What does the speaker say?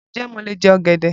Ǹ jẹ́ mó le jẹ ọ̀gẹ̀dẹ̀?